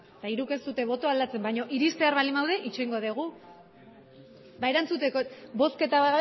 eta hiruk ez dute botoa aldatzen baina iristear baldi badaude itxarongo dugu ba erantzuteko bozketa